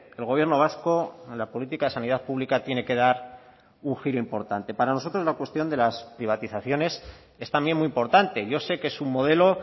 el gobierno vasco en la política de sanidad pública tiene que dar un giro importante para nosotros la cuestión de las privatizaciones es también muy importante yo sé que es un modelo